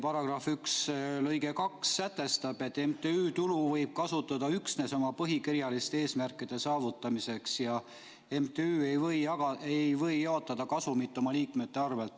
§ 1 lõige 2 sätestab, et MTÜ tulu võib kasutada üksnes oma põhikirjaliste eesmärkide saavutamiseks ja MTÜ ei või jaotada kasumit oma liikmete vahel.